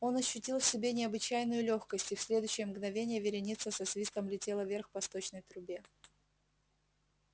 он ощутил в себе необычайную лёгкость и в следующее мгновение вереница со свистом летела вверх по сточной трубе